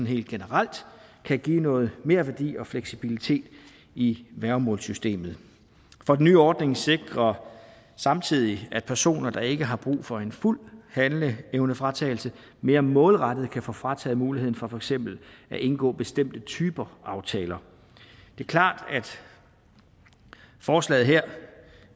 helt generelt kan give noget merværdi og fleksibilitet i værgemålssystemet for den nye ordning sikrer samtidig at personer der ikke har brug for en fuld handleevnefratagelse mere målrettet kan få frataget muligheden for for eksempel at indgå bestemte typer aftaler det er klart at forslaget her